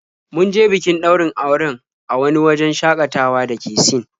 Mun je bikin ɗaurin auren a wani wajen shaƙatawa da ke Sin.